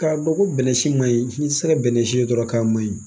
Ka dɔn ko bɛnnɛsi maɲi i ti se ka bɛnnɛ dɔrɔn k'a maɲi.